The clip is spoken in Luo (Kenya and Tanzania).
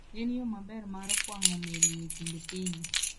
En yo maber mar kwang'o meli e kind pinje.